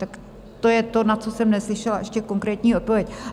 Tak to je to, na co jsem neslyšela ještě konkrétní odpověď.